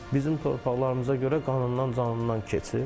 Bizim torpaqlarımıza görə qanından canından keçib.